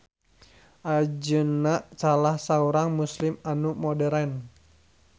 Anjeunna salah saurang Muslim anu modern